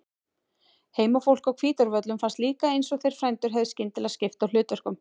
Heimafólki á Hvítárvöllum fannst líka eins og þeir frændur hefðu skyndilega skipt á hlutverkum.